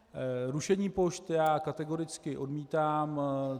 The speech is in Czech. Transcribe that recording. Rušení pošt já kategoricky odmítám.